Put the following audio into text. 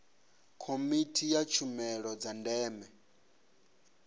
komiti ya tshumelo dza ndeme